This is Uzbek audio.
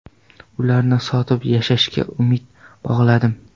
Ularni sotib, yashashga umid bog‘ladim.